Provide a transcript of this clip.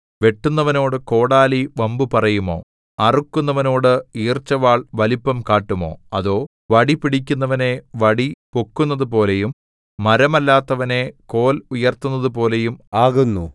വെട്ടുന്നവനോടു കോടാലി വമ്പു പറയുമോ അറുക്കുന്നവനോട് ഈർച്ചവാൾ വലിപ്പം കാട്ടുമോ അതോ വടിപിടിക്കുന്നവനെ വടി പൊക്കുന്നതുപോലെയും മരമല്ലാത്തവനെ കോൽ ഉയർത്തുന്നതുപോലെയും ആകുന്നു